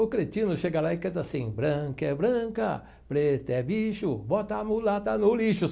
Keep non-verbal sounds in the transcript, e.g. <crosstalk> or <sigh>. O cretino chega lá e canta assim, branca é branca, preta é bicho, bota a mulata no lixo. <sings>